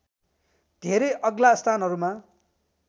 धेरै अग्ला स्थानहरूमा